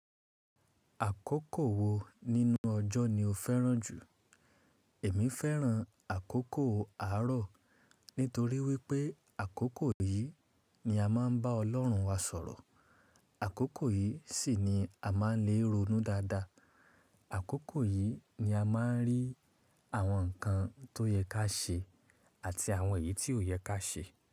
Àkókò wo nínú ọjọ́ ni o fẹ́ràn jù? Èmi fẹ́ràn àkókò àárọ̀ nítorí wípé àkókò yìí ni a má ń bá Ọlọ́run wa sọ̀rọ̀. Àkókò yìí sì ni a má ń lè ronú dáadáa. Àkókò yìí ni a má ń rí àwọn nǹkan tó yẹ ká ṣe àti àwọn èyí tí ò yẹ ká ṣe.